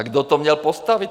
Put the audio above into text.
A kdo to měl postavit?